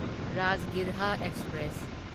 Rajgriha express